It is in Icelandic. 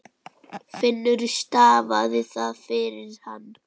Finnur stafaði það fyrir hann.